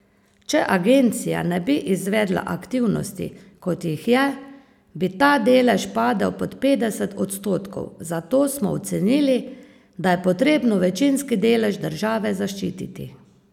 Če Agencija ne bi izvedla aktivnosti, kot jih je, bi ta delež padel pod petdeset odstotkov, zato smo ocenili, da je potrebno večinski delež države zaščititi.